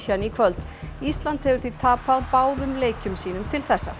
í kvöld ísland hefur því tapað báðum leikjum sínum til þessa